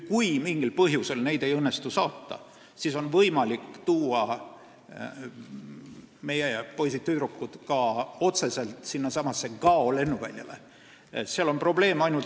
Kui mingil põhjusel neid ei õnnestu saada, siis on võimalik meie poisid-tüdrukud toimetada otse Gao lennuväljale.